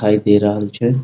दिखाई दे रहल छे।